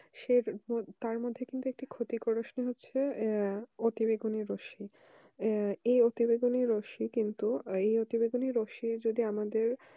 তার মধ্যে একটি ক্ষতি করে সেটা হচ্ছে অতি বেগুনি রস্মি এই অতি বেগুনি রশ্মি কিন্তু এই অতি বেগুনে রস্মির যদি আমাদের